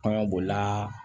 Kan bolila